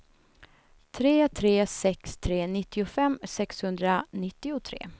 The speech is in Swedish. tre tre sex tre nittiofem sexhundranittiotre